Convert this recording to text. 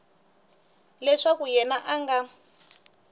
leswaku yena a a nga